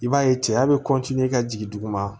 I b'a ye cɛya bɛ i ka jigin dugu ma